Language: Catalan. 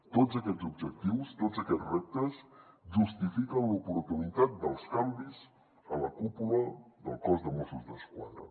tots aquests objectius tots aquests reptes justifiquen l’oportunitat dels canvis a la cúpula del cos de mossos d’esquadra